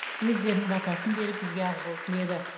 өздерінің батасын беріп бізге ақжол тіледі